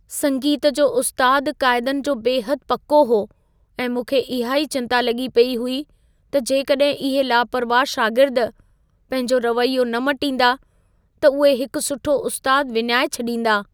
संगीत जो उस्तादु क़ाइदनि जो बेहदि पको हो ऐं मूंखे इहा ई चिंता लॻी पेई हुई त जेकॾहिं इहे लापरवाह शागिर्द पंहिंजो रवैयो न मटींदा, त उहे हिकु सुठो उस्तादु विञाए छॾींदा।